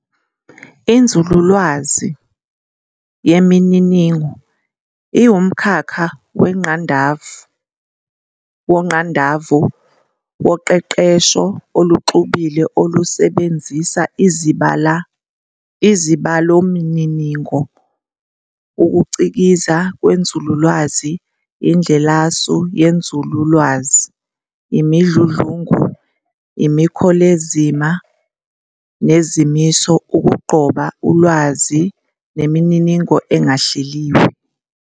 INzululwazi yeMininingo iwumkhakha wongqandavu woqeqesho oluxubile olusebenzisa izibalomininingo, ukucikiza kwenzululwazi, indlelasu yenzululwazi, imidludlungu, imikholezima nezimiso ukugqoba ulwazi nemininingo engahleliwe.